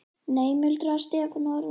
Nei muldraði Stefán og horfði niður.